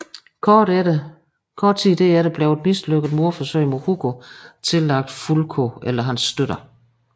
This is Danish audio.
Kort tid derefter blev et mislykket mordforsøg mod Hugo tillagt Fulko eller hans støtter